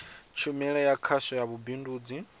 tshumelo ya khasho ya vhubindudzi